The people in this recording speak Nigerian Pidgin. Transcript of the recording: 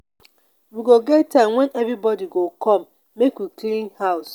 we go get time wen everybodi go come make we clean house.